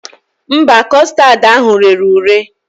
Mba, kọstad ahụ rere ure